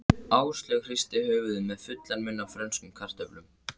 Áslaug hristi höfuðið með fullan munn af frönskum kartöflum.